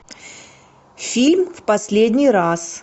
фильм в последний раз